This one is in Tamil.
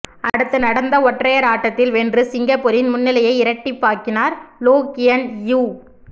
அடுத்து நடந்த ஒற்றையர் ஆட்டத்தில் வென்று சிங்கப்பூரின் முன்னிலையை இரட்டிப்பாக்கி னார் லோ கியன் இயூ